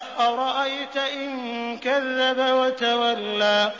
أَرَأَيْتَ إِن كَذَّبَ وَتَوَلَّىٰ